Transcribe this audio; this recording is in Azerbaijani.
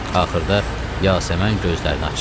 Axırda Yasəmən gözlərini açdı.